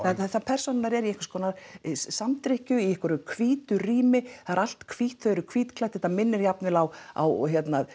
persónurnar eru í einhverskonar í einhverju hvítu rými það er allt hvítt þau eru hvítklædd þetta minnir jafnvel á á